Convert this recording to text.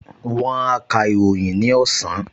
Wón á ka ìròyìn ní ọ̀sán